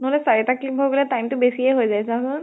নহলে চাৰি টা clip হৈ গলে time টো বেছিয়ে হৈ যায় চা চোন।